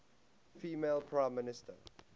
female prime minister